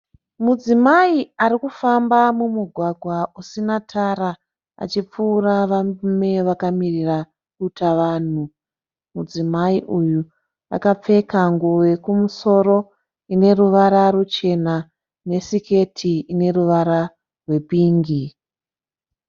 Mudzimai arikufamba mumugwagwa usina tara , achipfuura varume vakamirira duta vanhu . Mudzimai uyu akapfeka nguwo yekumusoro ineruvara ruchena ne siketi ine ruvara rwe pingi.